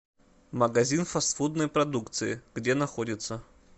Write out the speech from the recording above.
магазин фастфудной продукции где находится